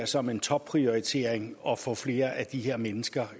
som en topprioritering at få flere af de her mennesker